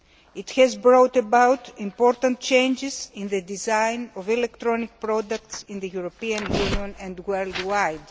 It has brought about important changes in the design of electronic products in the European Union and worldwide.